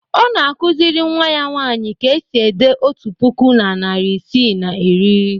Ọ na-akụziri nnwa ya nwaanyị ka e si ede otu puku na narị isii na iri.